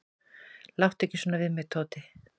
"""Láttu ekki svona við mig, Tóti."""